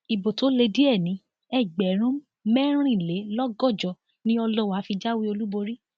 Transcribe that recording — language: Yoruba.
ibo tó lé díẹ ní ẹgbẹrún mẹrìnlélọgọjọ ni ọlọwà fi jáwé olúborí